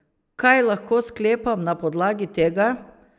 Kaj lahko sklepam na podlagi tega?